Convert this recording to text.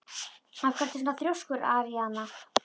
Af hverju ertu svona þrjóskur, Aríaðna?